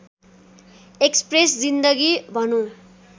express जिन्दगी भनुँ